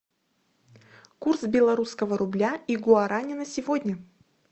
курс белорусского рубля и гуарани на сегодня